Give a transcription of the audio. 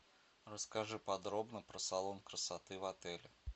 расскажи подробно про салон красоты в отеле